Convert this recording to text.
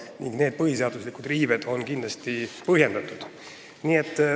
Nii et need põhiseaduse riived on kindlasti põhjendatud.